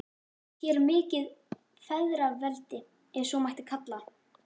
Hér er mikið feðraveldi, ef svo mætti kalla.